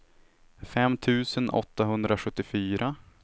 fem tusen åttahundrasjuttiofyra